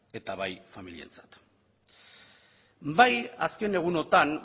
eta bai familientzat bai azken egunotan